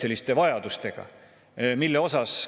Ja vist ei ole maailmas ühtegi riiki, kellel üldse laenu ei ole.